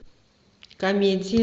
комедии